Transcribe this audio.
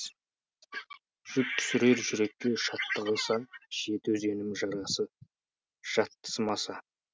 жүк түсірер жүрекке шаттық аса жеті өзенім жарасы жатсымаса